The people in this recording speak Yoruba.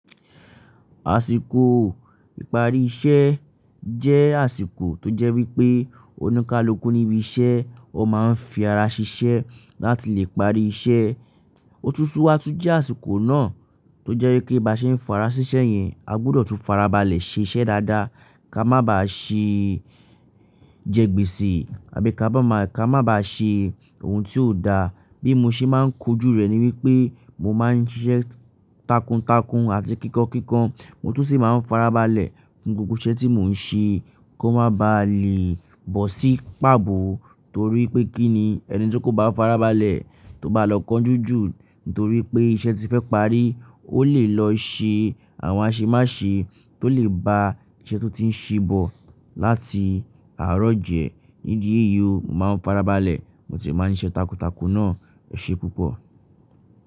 Àsìkò ìparí iṣẹ́ jẹ́ àsìkò tó jẹ́ wípé oníkalúkú níbi iṣẹ́ ọ má ń fi ara ṣiṣẹ́ láti lè parí iṣẹ́. Otútú wàtúńjẹ́ àsìkò náà tó jẹ́ wípé bá ṣe ń fi ara ṣiṣẹ́ yẹn a gbúdọ̀ tún farabalẹ̀ ṣe iṣẹ́ dáadáa ká má bá ṣe jẹ́ gbèsì àbí ká bá má ká má bá ṣe ohun tí ò da. Bí mo ṣe máa ń ko ojú rẹ̀ ni wípé mo máa ń ṣiṣẹ́ takuntakun àti kíkan kíkan. Mo tún sì máa ń farabalẹ̀ fún gbogbo iṣẹ́ tí mò ń ṣe kó má bá lè bọ́ sí pàbọ́ torí pé kí ni ẹni tí kò bá farabalẹ̀ tó bá lọ kánjú jù nítorí pé iṣẹ́ ti fẹ́ parí ó lè lọ ṣe àwọn aṣemáṣe tó lè ba iṣẹ́ tó ti ń ṣe bọ̀ láti àárọ̀ jẹ. Nídi èyí o mo máa ń farabalẹ̀ mo sì máa ń ṣe iṣẹ́ takuntakun náà. Ẹ ṣe púpọ̀.